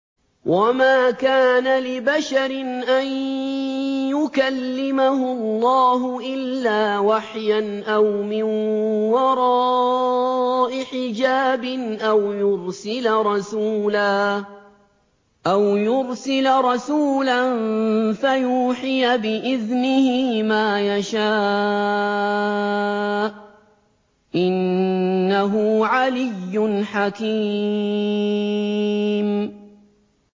۞ وَمَا كَانَ لِبَشَرٍ أَن يُكَلِّمَهُ اللَّهُ إِلَّا وَحْيًا أَوْ مِن وَرَاءِ حِجَابٍ أَوْ يُرْسِلَ رَسُولًا فَيُوحِيَ بِإِذْنِهِ مَا يَشَاءُ ۚ إِنَّهُ عَلِيٌّ حَكِيمٌ